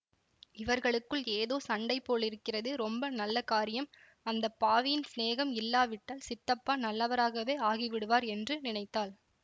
இவர்களுக்குள் ஏதோ சண்டை போலிருக்கிறது ரொம்ப நல்ல காரியம் அந்த பாவியின் சிநேகம் இல்லாவிட்டால் சித்தப்பா நல்லவராகவே ஆகிவிடுவார் என்று நினைத்தாள்